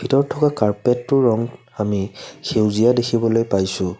ভিতৰত থকা কাৰ্পেটোৰ ৰং আমি সেউজীয়া দেখিবলৈ পাইছোঁ।